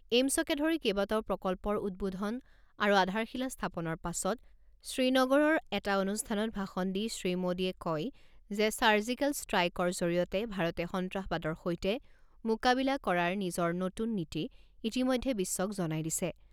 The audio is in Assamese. এইম্‌ছকে ধৰি কেইবাটাও প্ৰকল্পৰ উদ্বোধন আৰু আধাৰশিলা স্থাপনৰ পাছত শ্ৰীনগৰৰ এটা অনুষ্ঠানত ভাষণ দি শ্ৰীমোডীয়ে কয় যে ছাৰ্জিকেল ষ্ট্ৰাইকৰ জৰিয়তে ভাৰতে সন্ত্ৰাসবাদৰ সৈতে মোকাবিলা কৰাৰ নিজৰ নতুন নীতি ইতিমধ্যে বিশ্বক জনাই দিছে।